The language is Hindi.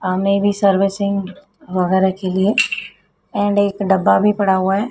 सामने भी सर्विसिंग वगैरह की गई है। एंड एक डब्बा भी पड़ा हुआ है।